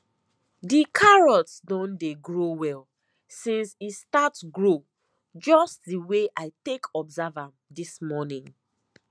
the carrots don dey grow well since e start grow just the way i take observe am this morning